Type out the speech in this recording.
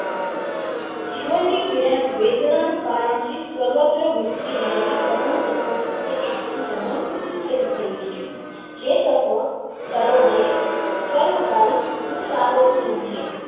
જીવન ની પીડા યોજવાનું કારણ છે સર્વત્ર વચ્ચે રહેલો પરમ તત્વો આપનો સબંધ જે લોકો .